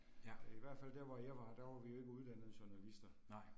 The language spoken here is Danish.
Ja. Nej